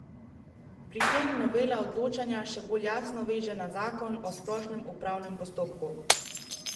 Pri tem novela odločanje še bolj jasno veže na zakon o splošnem upravnem postopku.